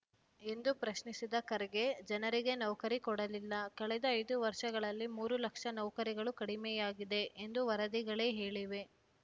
ಎಂದು ಪ್ರಶ್ನಿಸಿದ ಖರ್ಗೆ ಜನರಿಗೆ ನೌಕರಿ ಕೊಡಲಿಲ್ಲ ಕಳೆದ ಐದು ವರ್ಷಗಳಲ್ಲಿ ಮೂರು ಲಕ್ಷ ನೌಕರಿಗಳು ಕಡಿಮೆಯಾಗಿದೆ ಎಂದು ವರದಿಗಳೇ ಹೇಳಿವೆ